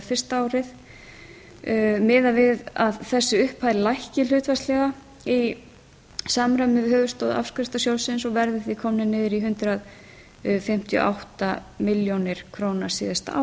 fyrsta árið miðað við að þessi upphæð lækki hlutfallslega í samræmi við höfuðstól afskriftasjóðsins og verði því komið niður í hundrað fimmtíu og átta milljónir króna síðasta